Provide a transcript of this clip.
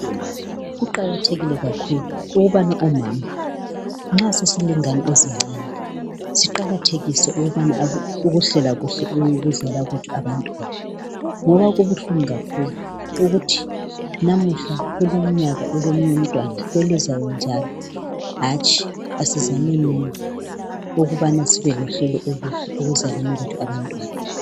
Kuqakathekile kakhulu ukubana omama nxa sesilezingane ezincane siqakathekise ukuhlela kuhle ukuzala kwethu abantwana ngoba kubuhlungu kakhulu ukuthi namuhla kulumnyaka ulomunye umntwana, kwelizayo njalo. Hatshi asizamenini ukubana sibe lohlelo oluhle ekuzaleni abantwana.